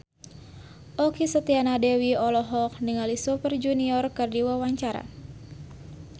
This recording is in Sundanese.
Okky Setiana Dewi olohok ningali Super Junior keur diwawancara